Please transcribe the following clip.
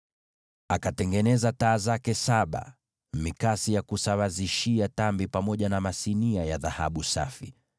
Akatengeneza taa zake saba, na pia mikasi ya kusawazishia tambi, pamoja na masinia, zote kwa dhahabu safi.